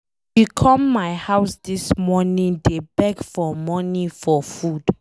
She come my house dis morning dey beg for money for food